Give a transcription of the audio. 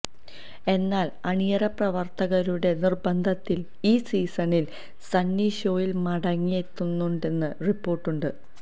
എന്നാൽ അണിയറ പ്രവർത്തകരുടെ നിർബന്ധത്താൽ ഈ സീസണിൽ സണ്ണി ഷോയിൽ മടങ്ങിയെത്തുന്നുണ്ടെന്നും റിപ്പോർട്ടുണ്ട്